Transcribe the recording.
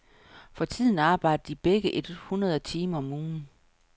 For tiden arbejder de begge et hundrede timer om ugen.